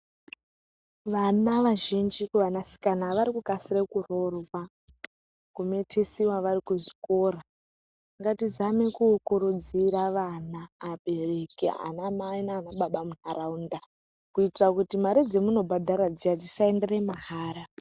Vana vazhinji kuvanasikana vari kukasira kuroorwa kumitisiwa vari kuzvikora ngatizame kukurudzira vana vabereki vana mai nana baba mundaraunda kuitira kuti mari dzamunobhadhara dziya dzisaendera mahara.